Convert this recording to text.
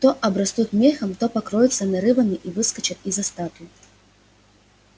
то обрастут мехом то покроются нарывами и выскочат из-за статуй